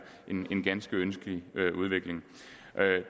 en ganske ønskelig udvikling